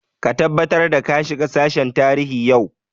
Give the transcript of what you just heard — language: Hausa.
Ka tabbatar da ka shiga sashen tarihi yau!